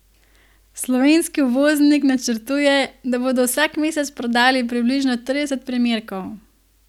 Slovenski uvoznik načrtuje, da bodo vsak mesec prodali približno trideset primerkov.